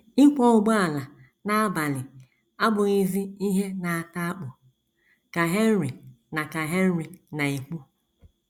“ Ịkwọ ụgbọala n’abalị abụghịzi ihe na - ata akpụ, ” ka Henry na ka Henry na - ekwu.